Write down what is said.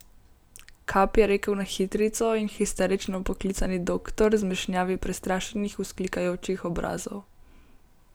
Kap, je rekel na hitrico in histerično poklicani doktor zmešnjavi prestrašenih, vzklikajočih obrazov.